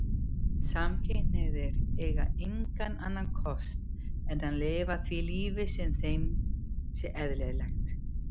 Samkynhneigðir eigi engan annan kost en að lifa því lífi sem þeim sé eðlilegt.